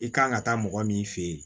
I kan ka taa mɔgɔ min fɛ yen